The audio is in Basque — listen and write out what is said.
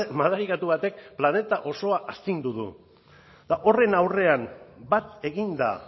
madarikatu batek planeta osoa astindu du eta horren aurrean bat eginda